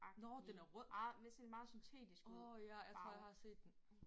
Nåh den er rød. Åh ja jeg tror jeg har set den